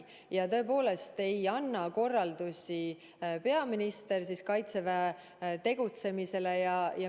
Ja tõepoolest ei anna ka peaminister korraldusi, kuidas Kaitsevägi peaks tegutsema.